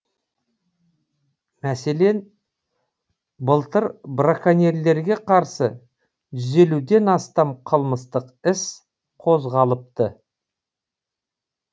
мәселен былтыр браконьерлерге қарсы жүз елуден астам қылмыстық іс қозғалыпты